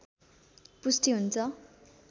पुष्टि हुन्छ